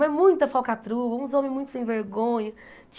Mas muita falcatrua, uns homens muito sem vergonha.